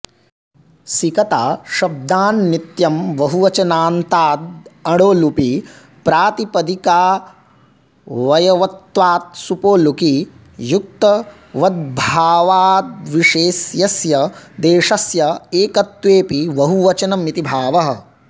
सिकताशब्दान्नित्यं बहुवचनान्तादणो लुपि प्रातिपदिकावयवत्वात्सुपो लुकि युक्तवद्भावाद्विशेष्यस्य देशस्य एकत्वेऽपि बहुवचनमिति भावः